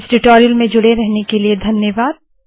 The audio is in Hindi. इस ट्यूटोरियल में जुड़े रहने के लिए धन्यवाद